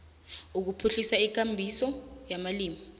ukuphuhlisa ikambiso yamalimi